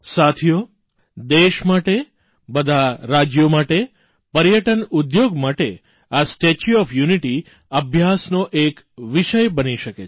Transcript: સાથીઓ દેશ માટે બધા રાજ્યો માટે પર્યટન ઉદ્યોગ માટે આ સ્ટેચ્યુ ઓફ યુનિટી અભ્યાસનો એક વિષય બની શકે છે